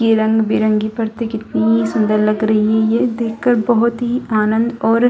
ये रंग-बिरंगी परते कितनी सुंदर लग रही है ये देख कर बहुत ही आनंद और --